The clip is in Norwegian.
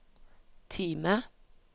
Time